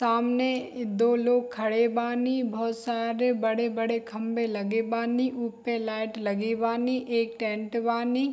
सामने दो लोग खड़े बानी बहुत सारे बड़े-बड़े खम्बे लगे बानी उपे लाइट लगे बानी एक टेंट बानी।